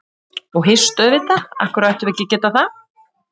Og hist auðvitað líka, af hverju ættum við ekki að geta það?